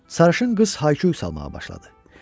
Sarışın qız hay-küy salmağa başladı.